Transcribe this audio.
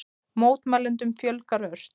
Mótmælendum fjölgar ört